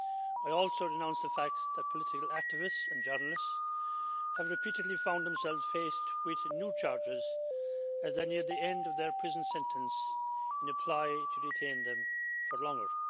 I also denounce the fact that political activists and journalists have repeatedly found themselves faced with new charges as they near the end of their prison sentences in a ploy to detain them for longer.